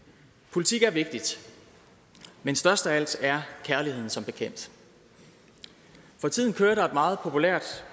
politik er vigtigt men størst af alt er kærligheden som bekendt for tiden kører der et meget populært